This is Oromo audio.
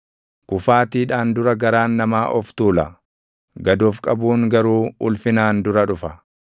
Kufaatiidhaan dura garaan namaa of tuula; gad of qabuun garuu ulfinaan dura dhufa.